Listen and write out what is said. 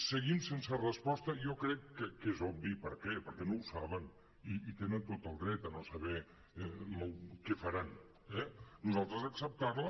seguim sense resposta jo crec que és obvi per què perquè no ho saben i tenen tot el dret a no saber què faran eh nosaltres acceptar la